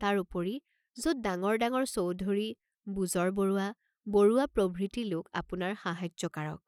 তাৰ উপৰি যত ডাঙৰ ডাঙৰ চৌধুৰী, বুজৰবৰুৱা, বৰুৱা প্ৰভৃতি লোক আপোনাৰ সাহায্যকাৰক।